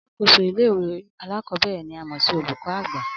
Alákòóso ilé ìwé alákò̩ó̩bè̩rè̩ ni a mò̩ sí olùkó̩ àgbà